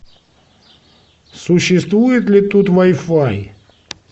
существует ли тут вай фай